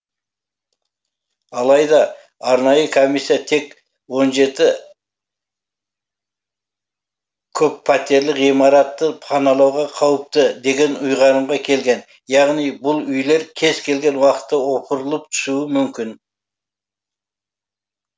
алайда арнайы комиссия тек он жеті көппәтерлі ғимаратты паналауға қауіпті деген ұйғарымға келген яғни бұл үйлер кез келген уақытта опырылып түсуі мүмкін